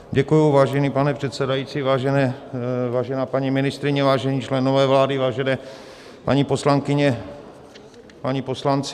Děkuji, vážený pane předsedající, vážená paní ministryně, vážení členové vlády, vážené paní poslankyně, páni poslanci.